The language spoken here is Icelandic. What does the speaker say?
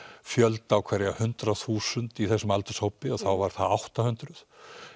fjölda á hverja hundrað þúsund í þessum aldurshópi og þá var það átta hundruð